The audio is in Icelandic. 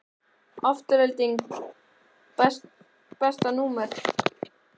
Afturelding Besta númer?